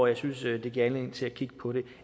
jeg synes at det giver anledning til at kigge på det